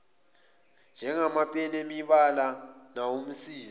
njengamapeni emibala nawomsizi